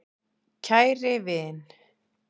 KÆRI vin.